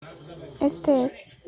стс